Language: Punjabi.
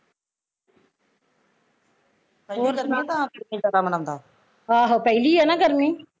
ਆਹੋ ਪਹਿਲੀ ਐ ਨਾ ਗਰਮੀ